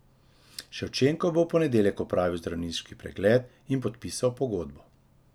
Ševčenko bo v ponedeljek opravil zdravniški pregled in podpisal pogodbo.